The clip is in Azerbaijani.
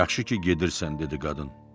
Yaxşı ki, gedirsən, dedi qadın.